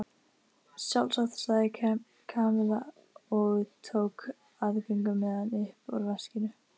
Sjálfsagt sagði Kamilla og tók aðgöngumiðann upp úr veskinu.